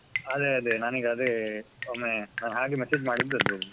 ಅದೇ ಅದೇ ನಾನೀಗ ಅದೇ ಒಮ್ಮೆ ನಾನ್ ಹಾಗೆ message ಮಾಡಿದ್ದದ್ದು.